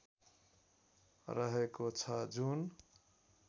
रहेको छ जुन